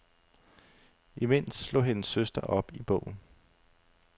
Imens slog hendes søster op i bogen.